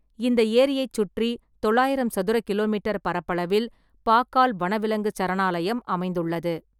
இந்த ஏரியைச் சுற்றி தொள்ளாயிரம் சதுர கிலோமீட்டர் பரப்பளவில் பாக்கால் வனவிலங்குச் சரணாலயம் அமைந்துள்ளது.